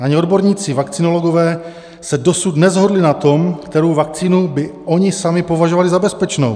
Ani odborníci vakcinologové se dosud neshodli na tom, kterou vakcínu by oni sami považovali za bezpečnou.